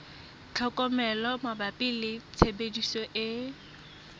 tlhokomelo mabapi le tshebediso e